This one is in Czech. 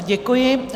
Děkuji.